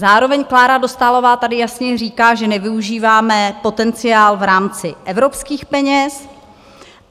Zároveň Klára Dostálová tady jasně říká, že nevyužíváme potenciál v rámci evropských peněz.